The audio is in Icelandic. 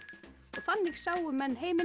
þannig sáu menn heiminn